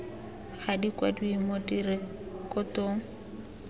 ga di kwadiwe mo direkotong